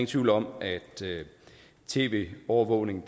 tvivl om at tv overvågning